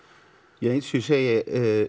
ja eins og ég segi